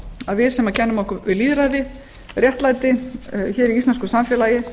að við sem kennum okkur við lýðræði og réttlæti í íslensku samfélagi